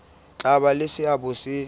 tla ba le seabo se